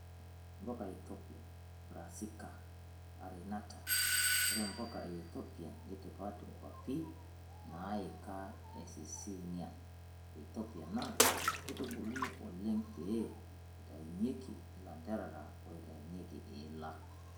Mpuka e Ethopia (Brassica carinata):Ore mpuka eeithopian neitipat kwapi naika ee Absysynian ee Ethopia naa keitubuluni oelng peyie eitayunyieki ilanterera oitayunyieki iila.